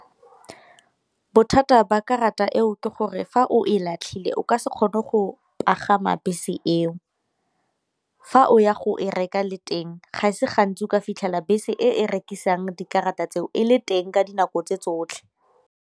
Bothata ba karata eo ke gore fa o e latlhile o ka se kgone go pagama bese eo, fa o ya go e reka le teng ga e se gantsi o ka fitlhela bese e rekisang dikarata tseo e le teng ka dinako tse tsotlhe.